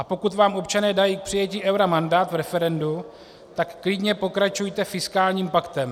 A pokud vám občané dají k přijetí eura mandát v referendu, tak klidně pokračujte fiskálním paktem.